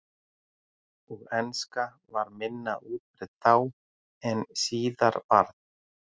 Og enska var minna útbreidd þá en síðar varð.